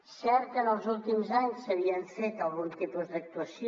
és cert que en els últims anys s’havia fet algun tipus d’actuació